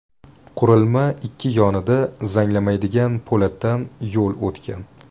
Qurilma ikki yonida zanglamaydigan po‘latdan yo‘l o‘tgan.